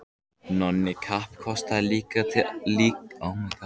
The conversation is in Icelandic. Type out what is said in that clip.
Nonni kappkostaði líka að telja um fyrir Júlíu.